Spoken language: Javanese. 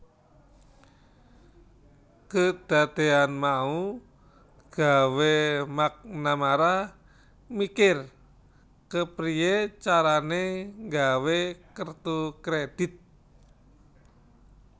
Kedadeyan mau gawé McNamara mikir kepriye carane gawé kertu kredit